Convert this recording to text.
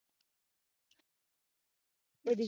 ਇਹ ਦਿਖਿਆ